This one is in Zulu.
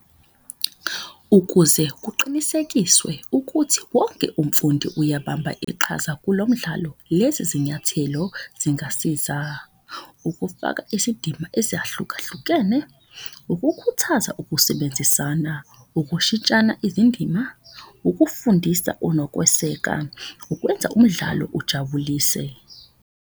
Ukuze kuqinisekiswe ukuthi wonke umfundi uyabamba iqhaza kulo mdlalo, lezi zinyathelo zingasiza. Ukufaka isidima ezahlukahlukene, ukukhuthaza ukusebenzisana, ukushintshana izindima, ukufundisa nokweseka. Ukwenza umdlalo ujabulise.